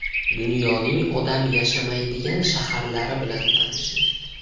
Dunyoning odam yashamaydigan shaharlari bilan tanishing .